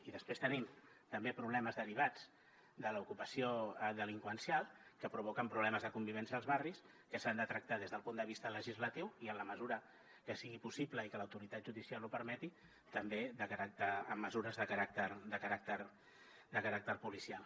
i després tenim també problemes derivats de l’ocupació delinqüencial que provoquen problemes de convivència als barris que s’han de tractar des del punt de vista legislatiu i en la mesura que sigui possible i que l’autoritat judicial ho permeti també amb mesures de caràcter policial